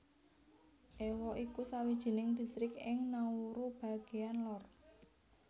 Ewa iku sawijining distrik ing Nauru bagéan lor